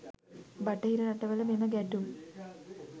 බටහිර රටවල මෙම ගැටුම්